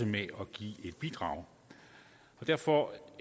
med at give et bidrag derfor